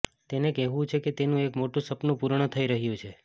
તેનુ કહેવુ છે કે તેનુ એક મોટુ સપનુ પૂર્ણ થઇ રહ્યુ છે